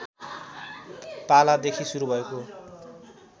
पालादेखि सुरु भएको